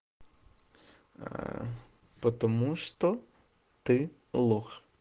потому что ты лох